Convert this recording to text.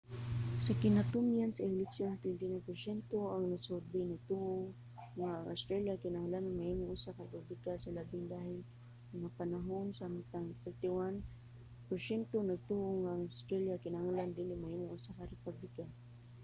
sa kinatumyan sa eleksyon 29 porsyento sa mga nasurbey nagtuo nga ang australia kinahanglan mahimong usa ka republika sa labing dali nga panahon samtang 31 porsyento nagtuo nga ang australia kinahanglan dili mahimong usa ka republika